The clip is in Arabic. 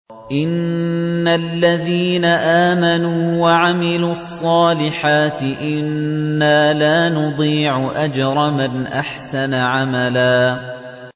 إِنَّ الَّذِينَ آمَنُوا وَعَمِلُوا الصَّالِحَاتِ إِنَّا لَا نُضِيعُ أَجْرَ مَنْ أَحْسَنَ عَمَلًا